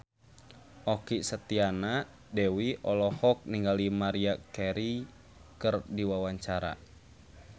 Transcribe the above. Okky Setiana Dewi olohok ningali Maria Carey keur diwawancara